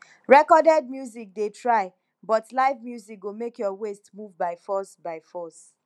recorded music dey try but live music go make your waist move by force by force